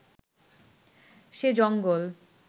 সে জঙ্গল